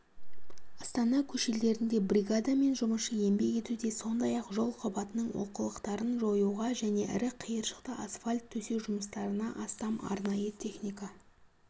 астана көшелерінде бригада мен жұмысшы еңбек етуде сондай-ақ жол қабатының олқылықтарын жоюға және ірі қиыршықты асфальт төсеу жұмыстарына астам арнайы техника